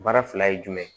Baara fila ye jumɛn ye